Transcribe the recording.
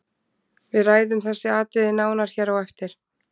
Við ræðum þessi atriði nánar hér á eftir.